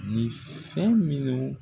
Nin fɛn minnu